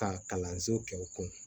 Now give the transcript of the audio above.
Ka kalanso kɛ u kun